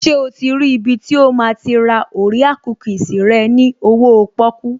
Ṣé o ti rí ibi tí o máa ti ra orea kúkìsì rẹ ní owóo pọ́kú?